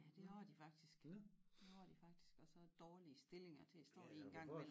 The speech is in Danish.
Ja det har de faktisk det har de faktisk og så dårlige stillinger til at stå i en gang imellem